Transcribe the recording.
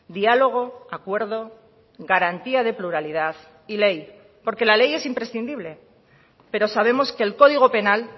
diálogo acuerdo garantía de pluralidad y ley porque la ley es imprescindible pero sabemos que el código penal